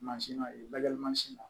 Mansin ma ye balimansi ma